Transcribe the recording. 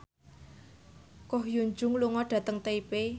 Ko Hyun Jung lunga dhateng Taipei